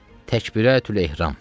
Təkbirətül-ehram.